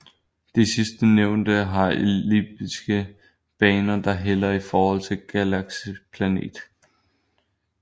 De sidstnævnte har elliptiske baner der hælder i forhold til galakseplanet